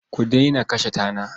Ku daina kashe tana.